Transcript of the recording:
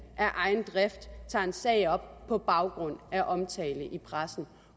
af egen drift tager en sag op på baggrund af omtale i pressen